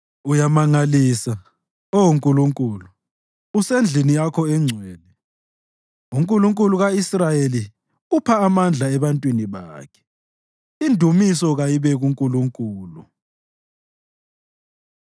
Uyamangalisa, Oh Nkulunkulu, usendlini yakho engcwele; uNkulunkulu ka-Israyeli upha amandla ebantwini bakhe. Indumiso kayibe kuNkulunkulu!